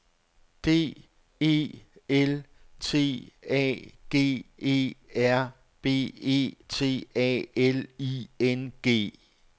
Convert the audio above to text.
D E L T A G E R B E T A L I N G